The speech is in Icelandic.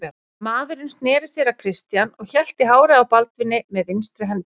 Maðurinn sneri sér að Christian og hélt í hárið á Baldvini með vinstri hendi.